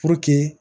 Puruke